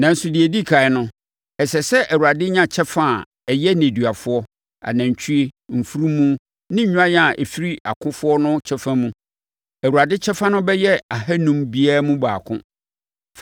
Nanso, deɛ ɛdi ɛkan no, ɛsɛ sɛ Awurade nya kyɛfa a ɛyɛ nneduafoɔ, anantwie, mfunumu, ne nnwan a ɛfiri akofoɔ no kyɛfa mu. Awurade kyɛfa no bɛyɛ ahanum biara mu baako.